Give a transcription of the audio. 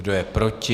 Kdo je proti?